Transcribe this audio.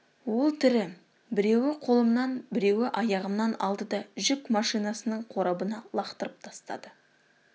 ол тірі біреуі қолымнан біреуі аяғымнан алды да жүк машинасының қорабына лақтырып тастады